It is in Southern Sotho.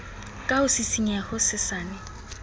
ka ho sisinyeha ho hosesane